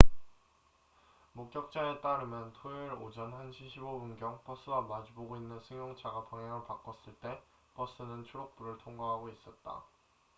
목격자에 따르면 토요일 오전 1시 15분경 버스와 마주 보고 있는 승용차가 방향을 바꿨을 때 버스는 초록불을 통과하고 있었다